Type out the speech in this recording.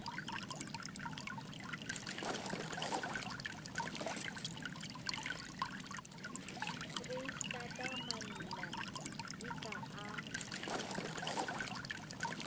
foreistata mamina e ka a